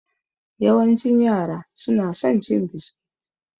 Yawancin yara su na son cin biskit.